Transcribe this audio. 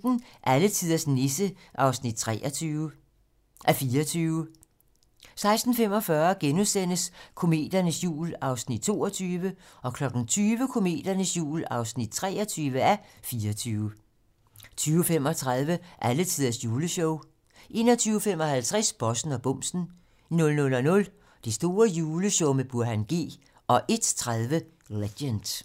16:15: Alletiders Nisse (23:24) 16:45: Kometernes jul (22:24)* 20:00: Kometernes jul (23:24) 20:35: Alletiders juleshow 21:55: Bossen og bumsen 00:00: Det store juleshow med Burhan G 01:30: Legend